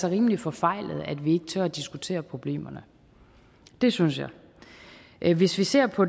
er rimelig forfejlet at vi ikke tør diskutere problemerne det synes jeg hvis vi ser på